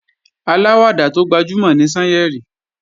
Aláwàdà tó gbajúmò ni Sányẹ̀rì